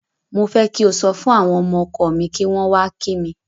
Mo fẹ́ kí o sọ fún àwọn ọmọ ọkọ mi kí wọ́n wá kí mi.